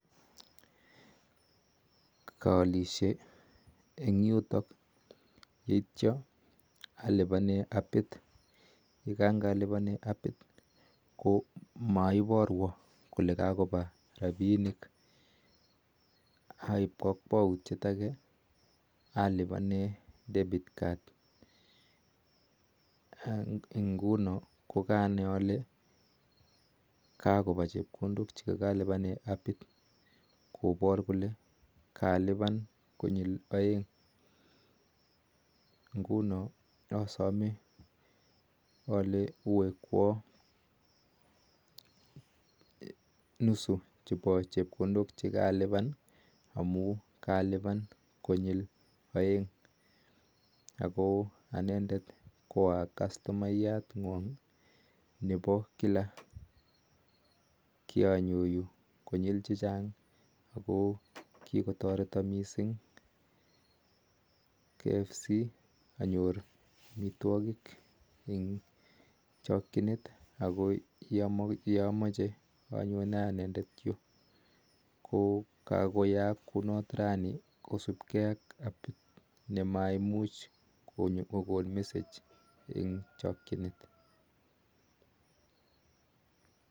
Kaalishee eng yutok atyee alipanere apiit ko maiaruu kolee mapaa rapisheek aii kakwautyeeet apaisheee debit card ko ngunoo kokalipan konyil aeek ako andeet koaaa custimayat ngoong ako tam anyonee missing yutook ko nguni kamokochameenyuun aiii kunitok